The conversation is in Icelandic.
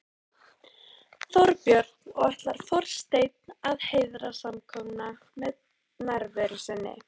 Þorbjörn: Og ætlar forsetinn að heiðra samkomuna með nærveru sinni?